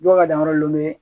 Dɔw ka danyɔrɔ lenbe